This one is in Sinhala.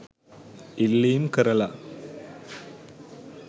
ඉල්ලීම් කරලා